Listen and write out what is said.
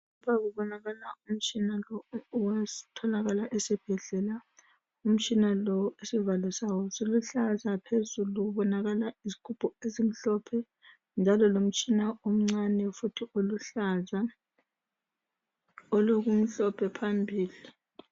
Lapha kubonakala umtshina lo otholakala esibhedlela. Umtshina lo isivalo sawo siluhlaza. Phezulu kubonakala isigubhu esimhlophe, njalo lomtshina omncane, futhi oluhlaza. Olokumhlophe phambili..